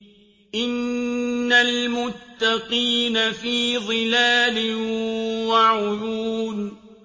إِنَّ الْمُتَّقِينَ فِي ظِلَالٍ وَعُيُونٍ